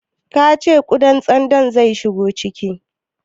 Ka ce ƙudan tsandon zai shigo ciki?